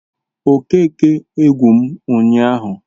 Okeke egwu m ụnyaahụ